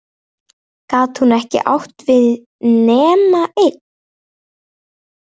Gat hún átt við nema eitt?